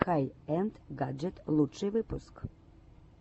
хай энд гаджет лучший выпуск